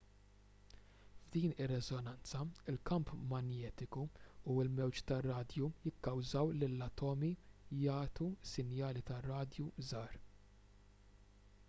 f'din ir-reżonanza il-kamp manjetiku u l-mewġ tar-radju jikkawżaw lill-atomi jagħtu sinjali tar-radju żgħar